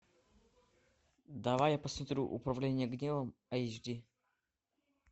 давай я посмотрю управление гневом айч ди